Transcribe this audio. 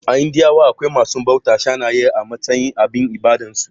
A indiya akwai masu bautar saniya a matsayin abin ibadar su